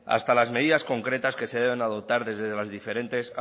hasta las medidas concretas que se deben adoptar desde las diferentes